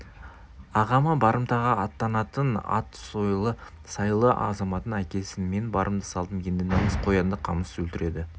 ағама барымтаға аттанатын ат сойылы сайлы азаматын әкелсін мен барымды салдым ерді намыс қоянды қамыс өлтіреді